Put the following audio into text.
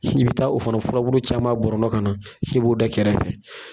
Si bi taa o fana furaburu caman bɔrɔntɔ ka na k'i b'o da kɛrɛfɛ